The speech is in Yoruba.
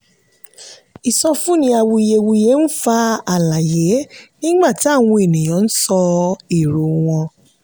ìsọfúnni awuyewuye ń fa àlàyé nígbà táwọn ènìyàn ń sọ èrò wọn.